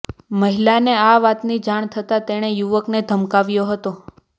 મહિલાને આ વાતની જાણ થતા તેણે યુવકને ધમકાવ્યો હતો